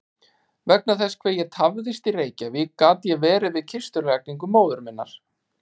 Vegna þess hve ég tafðist í Reykjavík gat ég verið við kistulagningu móður minnar.